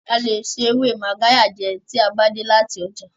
A lè se ewe Magarya jẹ tí a bá dé láti ọjà.